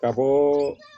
Ka bɔ